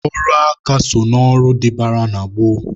Ọrụ aka so na ọrụ dịbara na gboo.